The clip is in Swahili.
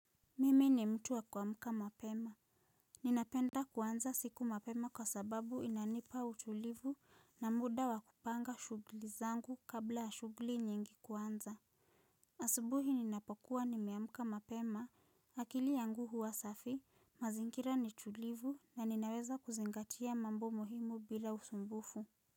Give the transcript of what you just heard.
Mimi ni mtu wa kuamka mapema. Ninapenda kuanza siku mapema kwa sababu inanipa utulivu na muda wa kupanga shugli zangu kabla ya shugli nyingi kuanza. Asubuhi ninapokuwa nimeamka mapema, akili yangu huwa safi, mazingira ni tulivu na ninaweza kuzingatia mambo muhimu bila usumbufu.